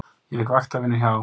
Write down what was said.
Ég fékk vaktavinnu hjá